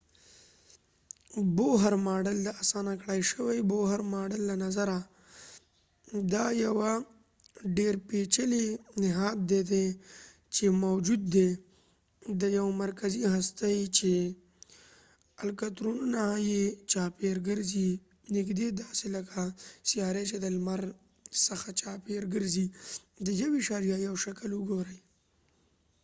د اسانه کړای شوي بوهر ماډل boher model له نظره ، دا یوه ډیرپیچلی نهاد دي چې موجود دي ، د یوه مرکزی هستی چې الکترونونه یې چاپیر کرځی . نږدې داسې لکه سیاری چې د لمر څخه چاپیر ګرځی د.1.1 شکل وګورئ